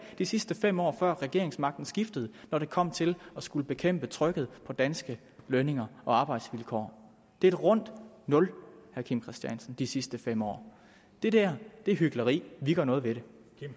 de sidste fem år før regeringsmagten skiftede når det kom til at skulle bekæmpe trykket på danske lønninger og arbejdsvilkår det er et rundt nul vil kim christiansen de sidste fem år det dér er hykleri vi gør noget ved det